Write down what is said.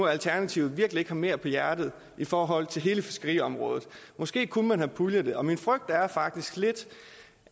alternativet virkelig ikke har mere på hjerte i forhold til hele fiskeriområdet måske kunne man have puljet det min frygt er faktisk lidt